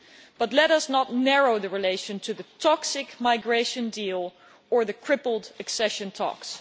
but let us not narrow the relationship to the toxic migration deal or the crippled accession talks.